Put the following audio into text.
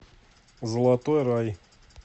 золотой рай